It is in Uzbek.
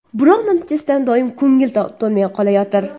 Biroq natijasidan doimo ko‘ngil to‘lmay qolayotir.